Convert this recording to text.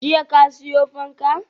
Jiya ka siyo fanka?